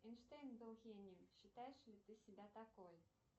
эйнштейн был гением считаешь ли ты себя такой